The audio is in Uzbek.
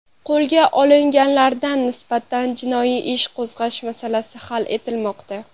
Qo‘lga olinganlarga nisbatan jinoiy ish qo‘zg‘ash masalasi hal etilmoqda.